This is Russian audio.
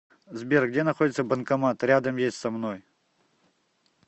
сбер где находится банкомат рядом есть со мной